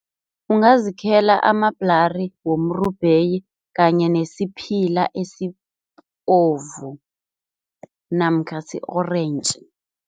Ungazikhela amabhlari womrubheyi kanye nesiphila esibovu namkha si-orentji.